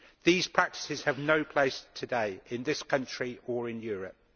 These practices have no place today, in this country or in Europe.